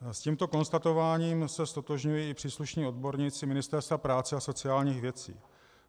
S tímto konstatováním se ztotožňují i příslušní odborníci Ministerstva práce a sociálních věcí.